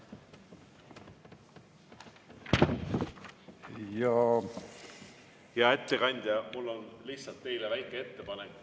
Hea ettekandja, mul on teile lihtsalt väike ettepanek.